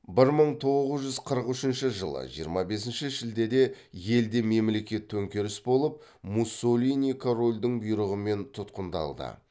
бір мың тоғыз жүз қырық үшінші жылы жиырма бесінші шілдеде елде мемлекет төңкеріс болып муссолини корольдің бұйрығымен тұтқындалды